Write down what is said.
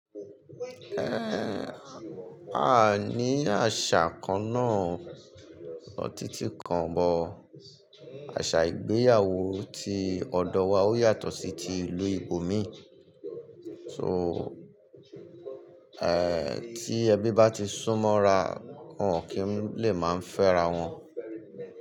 Ẹ̀, a ní àṣà kan náà ọ̀tí tí kan bó. Àṣà ìgbéyàwó ti ọ̀dọ̀ wa ó yàtọ̀ sí ti ìlú ìbòmi. So, tí ẹbí bá ti súnmọ́ ra, wọn kì í lè máa fẹ́ra wọn.